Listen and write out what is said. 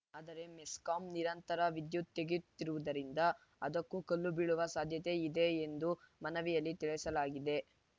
ಆದರೆ ಮೆಸ್ಕಾಂ ನಿರಂತರ ವಿದ್ಯುತ್‌ ತೆಗೆಯುತ್ತಿರುವುದರಿಂದ ಅದಕ್ಕೂ ಕಲ್ಲು ಬೀಳುವ ಸಾಧ್ಯತೆ ಇದೆ ಎಂದು ಮನವಿಯಲ್ಲಿ ತಿಳಿಸಲಾಗಿದೆ